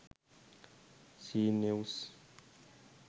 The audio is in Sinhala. c news